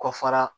Kɔ fara